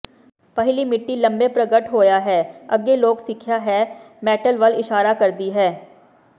ਪਹਿਲੀ ਮਿੱਟੀ ਲੰਬੇ ਪ੍ਰਗਟ ਹੋਇਆ ਹੈ ਅੱਗੇ ਲੋਕ ਸਿੱਖਿਆ ਹੈ ਮੈਟਲ ਵੱਲ ਇਸ਼ਾਰਾ ਕਰਦੀ ਹੈ